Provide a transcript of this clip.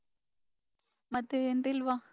ಮತ್ತೆ ಎಂತಿಲ್ವಾ.